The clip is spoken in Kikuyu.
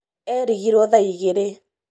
erigirwo thaa igĩrĩ